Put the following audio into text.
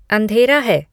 अँधेरा है